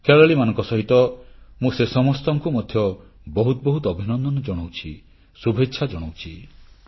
ଖେଳାଳିମାନଙ୍କ ସହିତ ମୁଁ ସେ ସମସ୍ତଙ୍କୁ ମଧ୍ୟ ବହୁତ ବହୁତ ଅଭିନନ୍ଦନ ଜଣାଉଛି ଶୁଭେଚ୍ଛା ଜଣାଉଛି